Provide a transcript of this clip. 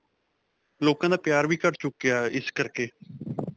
ਲੋਕਾਂ ਦਾ ਪਿਆਰ ਵੀ ਘੱਟ ਚੁੱਕਿਆ ਇਸ ਕਰਕੇ.